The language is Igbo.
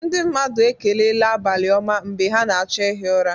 Ndị mmadụ ekelela "abalị-oma"mgbe ha na-achọ ihi ụra.